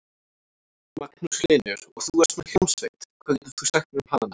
Magnús Hlynur: Og þú ert með hljómsveit, hvað getur þú sagt mér um hana?